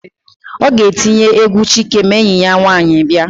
Ọ ga-etinye égwú Chike ma enyi ya nwaanyị bịa.